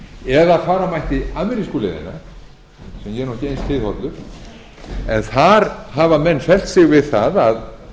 eða að fara mætti amerísku leiðina sem ég er nú ekki eins hliðhollur en þar hafa menn fellt sig við það að